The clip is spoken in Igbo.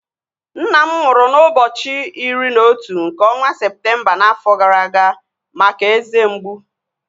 Nna m nwụrụ n'ụbọchị iri na otu nke ọnwa Septemba n'afọ gara aga maka eze mgbu